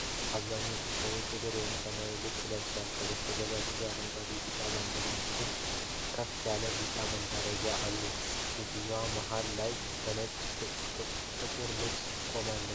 አብዛኞቹ ሰዎች ጥቁር ወይም ሰማያዊ ልብሶችን ለብሰዋል። ከበስተጀርባ ብዙ አረንጓዴና ቢጫ ባንዲራዎች እንዲሁም ከፍ ያለ ቢጫ መጋረጃዎች አሉ። ሴትየዋ መሃል ላይ በነጭ ጥቁር ልብስ ቆማለች።